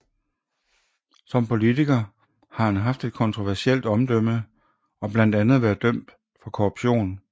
Som politiker har han haft et kontroversielt omdømme og blandt andet været dømt for korruption